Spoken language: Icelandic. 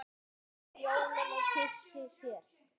á jólum kysi sér.